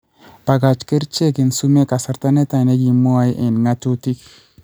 Bakach kercheek eng' sumeek kasarta netai nekimwoe eng' ng'atutik